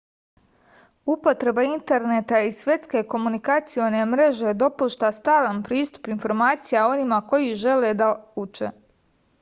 upotreba interneta i svetske komunikacione mreže dopušta stalan pristup informacija onima koji žele da uče